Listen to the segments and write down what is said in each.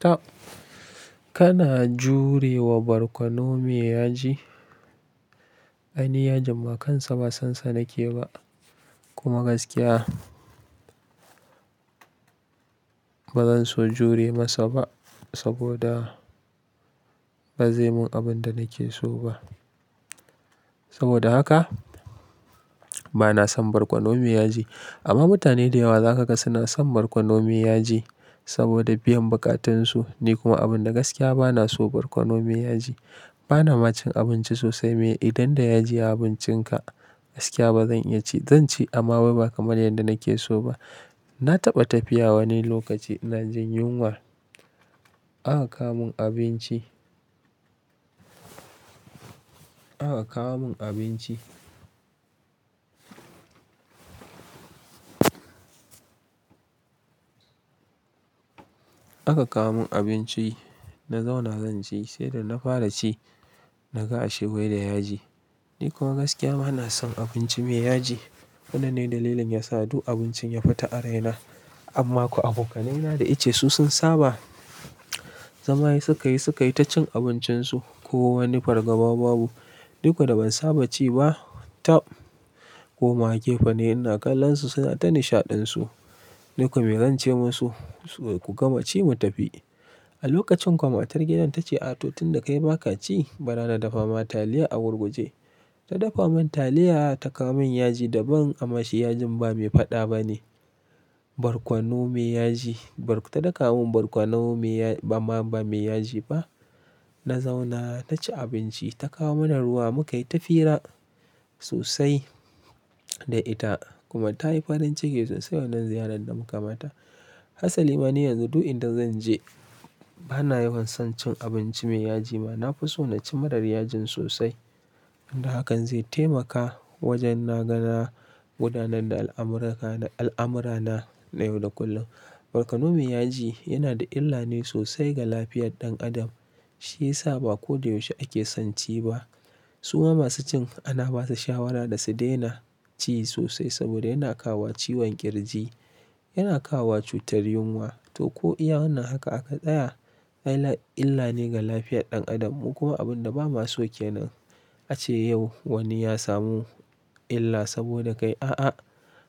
Toh, kana jure wa barkono me yaji? Ai, ni yajin ma kansa ba san sa nake ba, kuma gaskiya ba zan so jure masa ba, saboda, ba zai mun abun da nake so ba. Saboda haka, bana son barkono me yaji, amma mutane da yawa za ka ga suna son barkono me yaji saboda biyan buƙatunsu. Ni kuma abun da gaskiya bana so barkono me yaji. Bana ma cin abinci sosai me, idan da yaji a abincinka, gaskiya ba zan iya ci Zan ci amma wai ba kamar yadda nake so ba. Na taɓa tafiya wani lokaci inajin yunwa, aka kawo mun abinci, aka kawo mun abinci. Aka kawo mun abinci, na zauna zan ci, sai da na fara ci, naga ashe wai da yaji, Ni kuma gaskiya bana son abinci me yaji. Wannan ne dalilin yasa duk abincin ya fita a raina. Amma ko abokanaina da ike su sun saba, zama ai suka yi suka yi ta cin abincinsu. Ko wani fargaba babu, ni ko da ban saba ci ba, taɓ, komawa gefe nayi ina kallon su suna ta nishaɗinsu. Ni ko me zance musu, ku gama ci mu tafi. A lokacin ko matar gidan ta ce "ah toh tin da kai baka ci, bara na dafa ma taliya a gurguje". Ta dafa mun taliya ta kawo mun yaji daban, amma shi yajin ba me faɗa ba ne, barkono me yaji. Ta daka mun barkono me ya, amma ba me yaji ba. Na zauna na ci abinci, ta kawo mana ruwa mukayi ta fira, sosai da ita, kuma tayi farin ciki sosai wannan ziyarar da muka mata. Hasali mani yanzu duk inda zan je, bana yawan son cin abinci me yaji ma. Na fi so na ci marar yajin sosai. Inda hakan zai taimaka wajen na ga na gudanar da al'amurka na, al'amurana na yau da kullum. Barkono me yaji yana da illa ne sosai ga lafiyar ɗan adam. Shi yasa ba ko da yaushe ake son ci ba. Suma masu cin ana basu shawara da su daina ci sosai saboda yana kawowa ciwon ƙirji, yana kawowa cutar yunwa, to ko iya wannan haka aka tsaya Illa illa ne ga lafiyar ɗan Adam, mu kuma abun da ba ma so kenan. Ace yau wani ya samu illa saboda kai, a'a,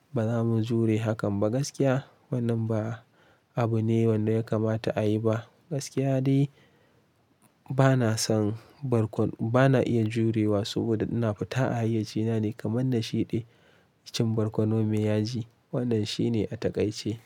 ba za mu jure hakan ba gaskiya. Wannan ba abu ne wanda ya kamata a yi ba. Gaskiya dai bana son barkono, bana iya jurewa saboda ina fita a hayyaci na ne kamar na shiɗe, cin barkono me yaji. Wannan shi ne a taƙaice.